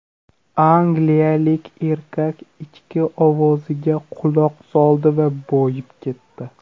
Angliyalik erkak ichki ovoziga quloq soldi va boyib ketdi.